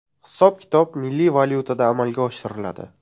Hisob-kitob milliy valyutada amalga oshiriladi.